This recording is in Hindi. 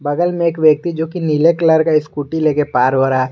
बगल में एक व्यक्ति जो की नीले कलर का स्कूटी लेके पार हो रहा।